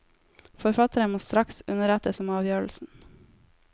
Forfatteren må straks underrettes om avgjørelsen.